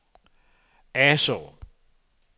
Asaa